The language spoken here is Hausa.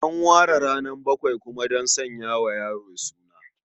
An ware ranar bakwai kuma don sanya wa yaro suna.